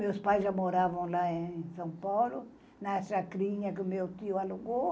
Meus pais já moravam lá em São Paulo, na chacrinha que o meu tio alugou.